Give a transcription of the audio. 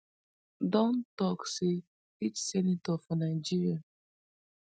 don tok say each senator for nigeria